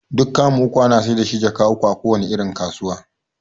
Duk kamu uku ana saida shi jaka uku a kowace irin kasuwa